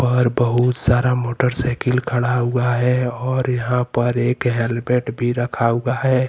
और बहुत सारा मोटरसाईकिल खडा हुआ है और यहा पर एक हैलमेट भी रखा हुआ है।